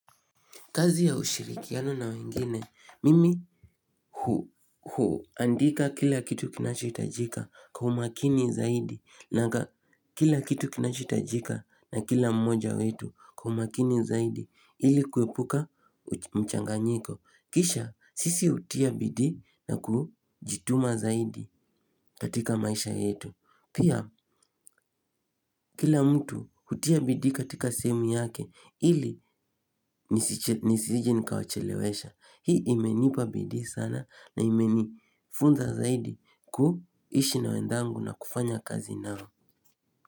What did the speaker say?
Kazi ya ushirikiano na wengine, mimi huandika kila kitu kinachoitajika kwa umakini zaidi na kila kitu kinachoitajika na kila mmoja wetu kwa umakini zaidi ili kwepuka mchanganyiko. Kisha, sisi utia bidii na kujituma zaidi katika maisha yetu. Pia kila mtu hutia bidii katika sehemu yake ili nisijin kawachelewesha. Hii imenipa bidii sana na imenifunza zaidi kuishi na wenzangu na kufanya kazi nao.